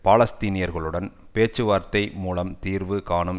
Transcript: பாலஸ்தீனியர்களுடன் பேச்சுவார்த்தை மூலம் தீர்வு காணும்